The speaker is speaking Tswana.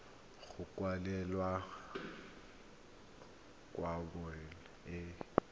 go kwalolola kgwebo e e